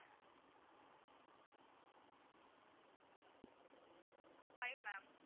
five ma'am